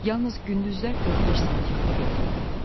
Yalnız gündüzlər 4-5 saat yıxılıb yatırdım.